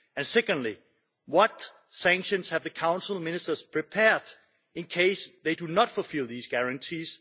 Secondly, what sanctions have the Council of Ministers prepared, in case they do not fulfil these guarantees?